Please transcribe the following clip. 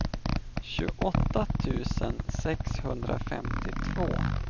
tjugoåtta tusen sexhundrafemtiotvå